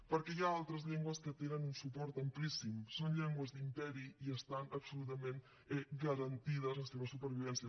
perquè hi ha altres llengües que tenen un suport amplíssim són llengües d’imperi i estan absolutament garantides la seva supervivència